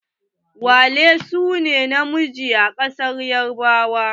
Wale sune ne na miji a kasar yarbawa.